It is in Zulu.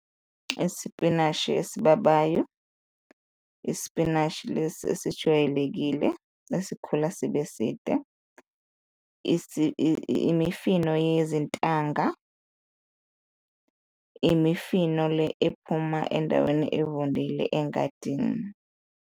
Isipinashi esibabayo, isipinashi lesi esijwayelekile esikhula sibe side, imifino yezintanga, imifino le ephuma endaweni evundile engadini.